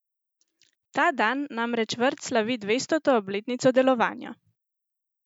Ta dan namreč vrt slavi dvestoto obletnico delovanja!